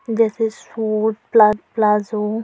जैसे सूट प्ला प्लाज़ो --